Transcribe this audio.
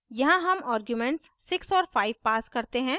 यहाँ हम आर्ग्यूमेंट्स 6 और 5 pass करते हैं